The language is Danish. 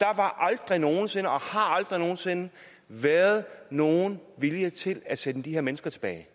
var aldrig nogen sinde og har aldrig nogen sinde været nogen vilje til at sende de her mennesker tilbage det